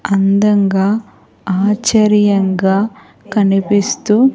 అందంగా ఆశ్చర్యంగా కనిపిస్తూ--